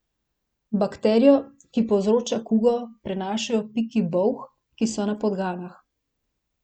Bakterijo, ki povzroča kugo, prenašajo piki bolh, ki so na podganah.